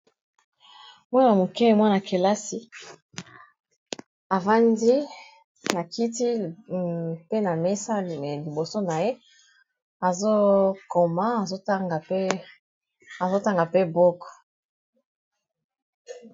Mwana moke mwana-kelasi avandi na kiti pe na mesa liboso na ye azokoma azotanga mpe book.